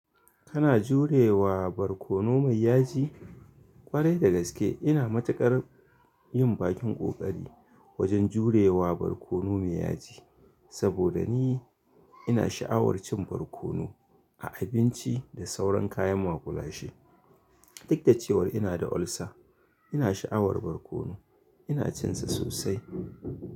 Kana jurewa barkono mai yaji? Kwarai da gaske ina matuƙar yin bakin ƙoƙari wajen jurewa barkono mai yaji, saboda ni ina sha'awar cin barkono a abinci da sauran kayan maƙulashe. Duk da cewar ina da ulcer, ina sha'awar barkono. Ina cin sa sosai.